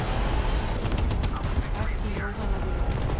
Bætti Jóhanna við.